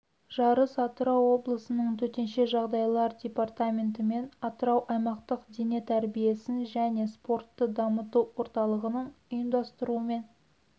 жарыс атырау облысының төтенше жағдайлар департаменті мен атырау аймақтық дене тәрбиесін және спортты дамыту орталығының ұйымдастыруымен